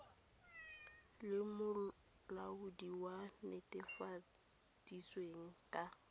le molaodi a netefaleditsweng ka